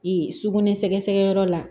sugunɛ sɛgɛsɛgɛ yɔrɔ la